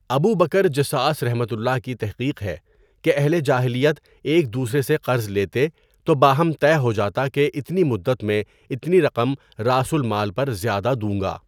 ابو Bakr Jassas کی تحقیق ہے کہ اہل جاہلیت ایک دوسرے سے قرض لیتے تو باہم طے ہوجاتا کہ اتنی مدت میں اتنی رقم راس المال پر زیاوہ دوں گا.